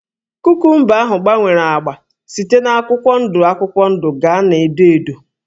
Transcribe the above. Kukumba ahụ gbanwere ágbá site na akwụkwọ ndụ akwụkwọ ndụ gaa na edo edo